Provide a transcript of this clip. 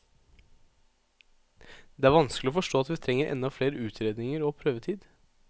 Det er vanskelig å forstå at vi trenger enda flere utredninger og prøvetid.